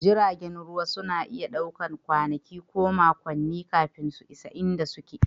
Jiragen ruwa sukan ɗauki kwanaki ko makonni kafin su isa inda suke